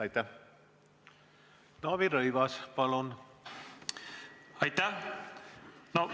Aitäh!